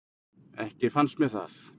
Ekki fannst mér það.